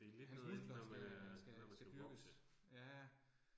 Hans muskler skal skal skal dyrkes, ja